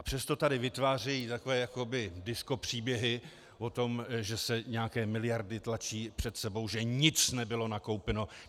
A přesto tady vytvářejí takové jakoby diskopříběhy o tom, že se nějaké miliardy tlačí před sebou, že nic nebylo nakoupeno.